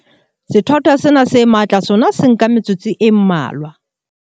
Sethwathwa sena se matla sona se nka metsotso e mmalwa.